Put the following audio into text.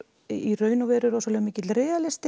í raun og veru rosalega mikill